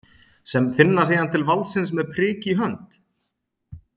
Sem finna síðan til valdsins með prik í hönd?